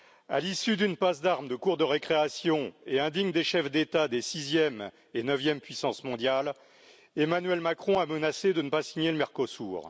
À l'issue d'une passe d'armes de cour de récréation, indigne des chefs d'État des sixième et neuvième puissances mondiales, Emmanuel Macron a menacé de ne pas signer le Mercosur.